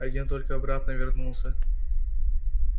один только обратно вернулся